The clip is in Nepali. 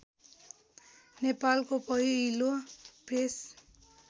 नेपालको पहिलो प्रेस